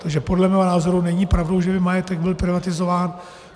Takže podle mého názoru není pravdou, že by majetek byl privatizován.